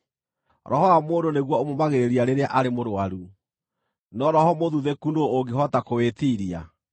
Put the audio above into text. Roho wa mũndũ nĩguo ũmũũmagĩrĩria rĩrĩa arĩ mũrũaru, no roho mũthuthĩku nũũ ũngĩhota kũwĩtiiria?